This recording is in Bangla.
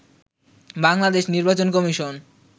বাংলাদেশ নির্বাচন কমিশন